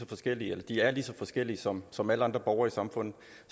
forskellige de er lige så forskellige som som alle andre borgere i samfundet